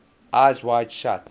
eyes wide shut